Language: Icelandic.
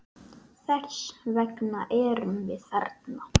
Þess vegna erum við þarna.